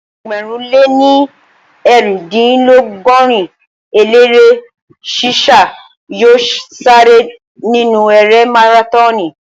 Ẹgbẹ̀rún lé ní eerindinlogorin eléré sí sá yóò sáré nínu erée márátọọnì